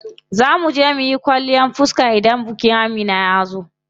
Zaa muje muyi kwalliyan fiska idan bikin Amina yazo.